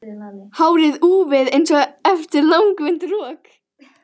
Hárið úfið einsog eftir langvinnt rok.